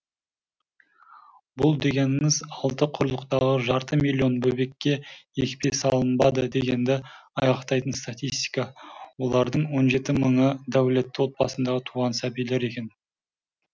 бұл дегеніңіз алты құрлықтағы жарты миллион бөбекке екпе салынбады дегенді айғақтайтын статистика олардың он жеті мыңы дәулетті отбасында туған сәбилер екен